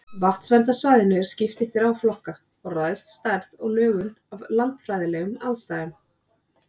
Vatnsverndarsvæðinu er skipt í þrjá flokka og ræðst stærð og lögun af landfræðilegum aðstæðum.